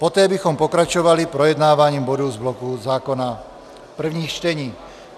Poté bychom pokračovali projednáváním bodů z bloku zákona prvních čtení.